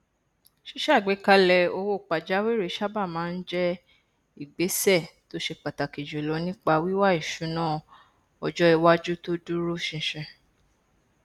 ṣíṣàgbékalẹ owó pàjáwìrì sábà máa n jẹ ìgbésẹ tó ṣe pàtàkì jùlọ nípa wíwá ìṣúná ọjọ iwájú tó dúró ṣinṣin